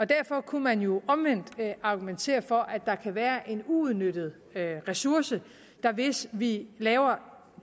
derfor kunne man jo omvendt argumentere for at der kan være en uudnyttet ressource hvis vi laver